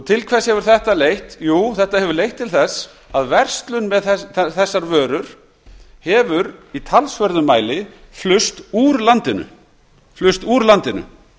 til hvers hefur þetta leitt jú þetta hefur leitt til þess að verslun með þessar vörur hefur í talsverðum mæli flust úr landinu